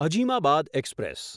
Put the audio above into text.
Azimabad express